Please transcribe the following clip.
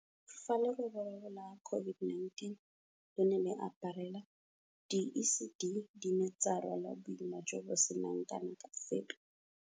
Fa leroborobo la COVID-19 le ne le re aparela, di-ECD di ne tsa rwala boima jo bo seng kana ka sepe.